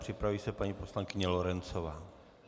Připraví se paní poslankyně Lorencová.